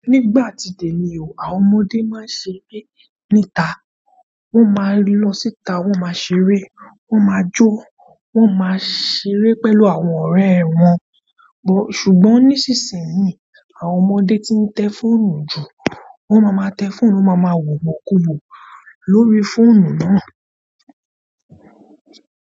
Nígbà tí tẹ̀mi o, àwọn ọmọdé máa ń ṣeré níta, wọ́n máa lọ síta, wọ́n máa ṣeré, wọ́n máa jó, wọ́n máa ṣeré pẹ̀lú àwọn ọ̀rẹ́ wọn. Ṣùgbọ́n nísinsìnyí, àwọn ọmọdé ti ń tẹ fóònù jù. Wọ́n máa ma tẹ fóònù, wọ́n máa ma wò wò kúwò lórí fóònù náà.